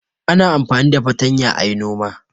Ana amfani da fatanya a yi noma.